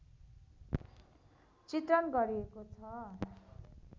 चित्रण गरिएको छ